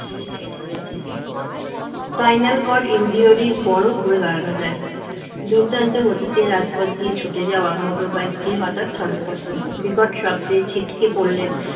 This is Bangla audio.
spinal cord injury এর পর ও ঘুরে দাঁড়ানো যায় দুর্দান্ত গতিতে রাজপথ দিয়ে ছুটে যাওয়া motor bike টি হঠাৎ ছন্দপতন বিকট শব্দে ছিটকে পড়লেন